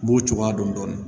N b'o cogoya dɔn dɔɔnin